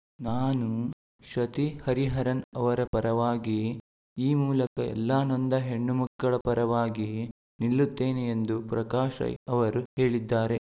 ನಾನು ಶ್ರತಿ ಹರಿಹರನ್‌ ಅವರ ಪರವಾಗಿ ಈ ಮೂಲಕ ಎಲ್ಲಾ ನೊಂದ ಹೆಣ್ಣು ಮಕ್ಕಳ ಪರವಾಗಿ ನಿಲ್ಲುತ್ತೇನೆ ಎಂದು ಪ್ರಕಾಶ್‌ ರೈ ಅವರು ಹೇಳಿದ್ದಾರೆ